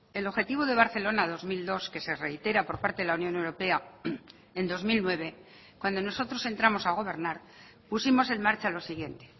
el objetivo de barcelona dos mil dos que se reitera por parte de la unión europea en dos mil nueve cuando nosotros entramos a gobernar pusimos en marcha lo siguiente